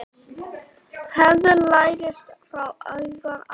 Hegðun lærist frá unga aldri.